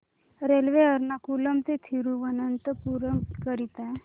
railway Ernakulam ते थिरुवनंतपुरम करीता